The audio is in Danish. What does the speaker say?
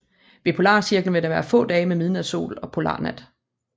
Ved polarcirklen vil der være få dage med midnatssol og polarnat